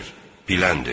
Biləndir.